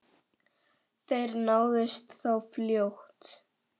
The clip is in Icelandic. Þeir náðust þó fljótt.